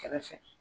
Kɛrɛfɛ